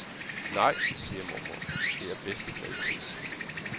Nej, siger mormor, det er bedste kvalitet.